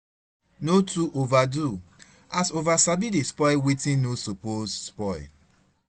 no too overdo as over sabi dey spoil wetin no soppose spoil